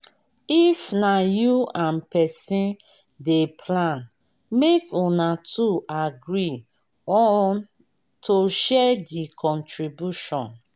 if na you and person dey plan make una two agree on to share di contribution